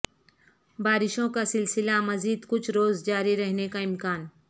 بارشوں کا سلسلہ مزید کچھ روز جاری رہنے کا امکان